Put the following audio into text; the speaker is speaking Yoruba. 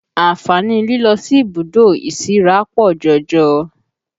Àǹfààní lílọ sí ibùdó ìsíra pọ̀ jọjọ